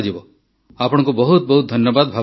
ଆପଣଙ୍କୁ ବହୁତ ବହୁତ ଧନ୍ୟବାଦ ଭାବନା ଜୀ